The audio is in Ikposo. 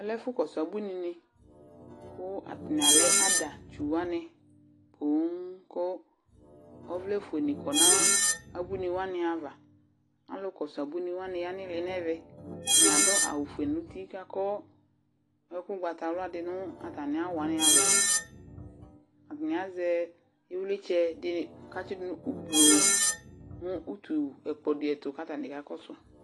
Alɛ ɛfʋkɔsʋ abuinɩnɩ kʋ atanɩ alɛ adatsu wanɩ poo kʋ ɔvlɛfuenɩ kɔ nʋ abuinɩ wanɩ ava Alʋkɔsʋ abuinɩ wanɩ ya nʋ ɩɩlɩ nʋ ɛvɛ Atanɩ adʋ awʋfue nʋ uti kʋ akɔ ɛkʋ ʋgbatawla dɩ nʋ atamɩ awʋ wanɩ ava Atanɩ azɛ ɩvlɩtsɛ dɩnɩ kʋ atsɩ dʋ nʋ ublo nʋ utu ɛkplɔ dɩ ɛtʋ kʋ atanɩ kakɔsʋ